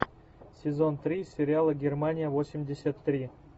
сезон три сериала германия восемьдесят три